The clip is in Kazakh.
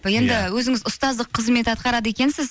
енді өзіңіз ұстаздық қызмет атқарады екенсіз